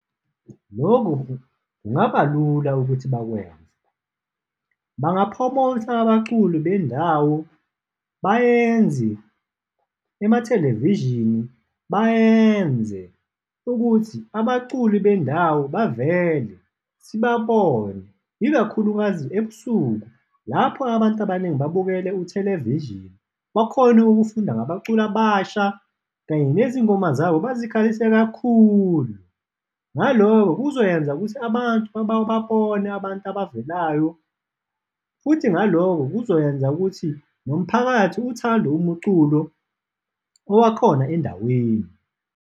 Loku kungaba lula ukuthi bakwenze, banga-promote-a abaculi bendawo, bayenzi ema-television-i bayenze ukuthi abaculi bendawo bavele sibabone, ikakhulukazi ebusuku lapho abantu abaningi babukele u-television-i, bakhone ukufunda ngabaculi abasha kanye nezingoma zabo bazikhalise kakhulu. Ngaloko kuzoyenza ukuthi abantu babone abantu abavelayo futhi naloko kuzoyenza ukuthi nomphakathi uthande umuculo owakhona endaweni.